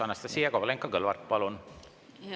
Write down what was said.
Anastassia Kovalenko-Kõlvart, palun!